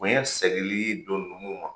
Bonɲɛ sɛgili don nunnu ma.